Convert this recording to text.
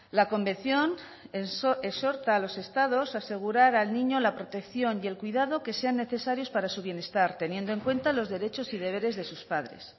la convención exhorta a los estados a asegurar al niño la protección y el cuidado que sean necesarios para su bienestar teniendo en cuenta los derechos y deberes de sus padres